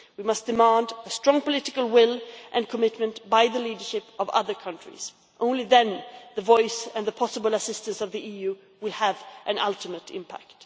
We must demand a strong political will and commitment by the leadership of other countries. Only then will the voice and the possible assistance of the EU have an ultimate impact.